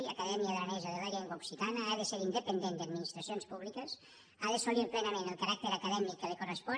acadèmia aranesa de la llengua occitana ha d’ésser independent d’administracions públiques ha d’assolir plenament el caràcter acadèmic que li correspon